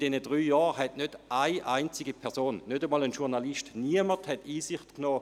In diesen drei Jahren hat keine einzige Person, auch kein Journalist, Einsicht genommen!